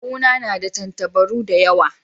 Kawu na na da tantabaru da yawa.